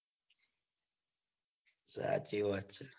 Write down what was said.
સાચી વાત ચ